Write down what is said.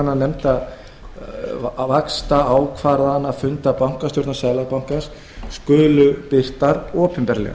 ákvæði um að fundargerðir vaxtaákvarðanafunda bankastjórnar seðlabankans skuli birtar opinberlega